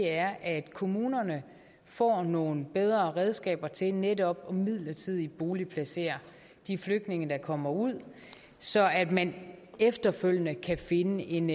er at kommunerne får nogle bedre redskaber til netop midlertidigt at boligplacere de flygtninge der kommer ud så man efterfølgende kan finde en